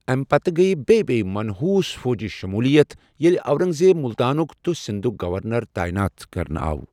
امہِ پتہٕ گیہ بیٚیہ بیٚیہ منحوٗس فوجی شمولیت، ییٚلہ اورنٛگزیب ملتانُک تہٕ سندُھک گورنر تٲیِنات کرنہٕ آو ۔